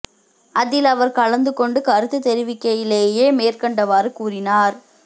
அதில் அவர் கலந்து கொண்டு கருத்துத் தெரிவிக்கையிலேயே மேற்கண்டவாறு கூறினார்